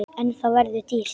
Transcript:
En það verður dýrt.